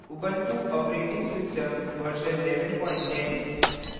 ubuntu operating system version 1110